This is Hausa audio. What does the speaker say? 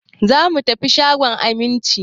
Za mu tafi shagon Aminci.